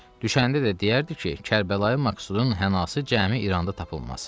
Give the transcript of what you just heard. Düşəndə də deyərdi ki, Kərbalayı Məqsudun hənası cəmi İranda tapılmaz.